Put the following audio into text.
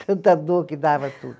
Tanta dor que dava tudo.